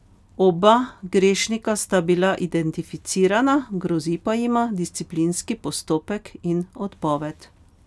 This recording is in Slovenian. Oba grešnika sta bila identificirana, grozi pa jima disciplinski postopek in odpoved.